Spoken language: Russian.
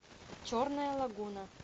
черная лагуна